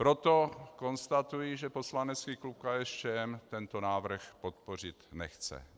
Proto konstatuji, že poslanecký klub KSČM tento návrh podpořit nechce.